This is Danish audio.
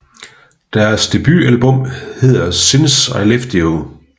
Deres debutalbum hedder Since I Left You